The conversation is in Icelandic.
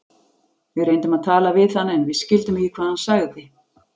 Við reyndum að tala við hann en skildum ekki hvað hann sagði.